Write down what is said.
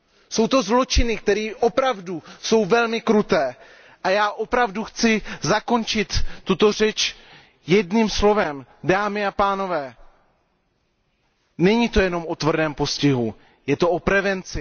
Jsou to zločiny, které opravdu jsou velmi kruté. A já chci zakončit tuto řeč jedním slovem, dámy a pánové, není to jenom o tvrdém postihu, je to o prevenci.